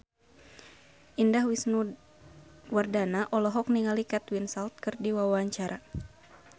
Indah Wisnuwardana olohok ningali Kate Winslet keur diwawancara